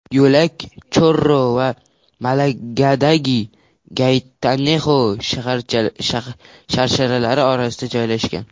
Yo‘lak Chorro va Malagadagi Gaytanexo sharsharalari orasida joylashgan.